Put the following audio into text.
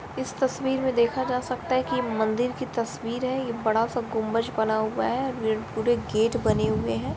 इस तस्वीर में देखा जा सकता है कि ये मंदिर कि तस्वीर है ये बड़ा सा गुम्बज बना हुआ है और ये पुरे गेट बने हुए है।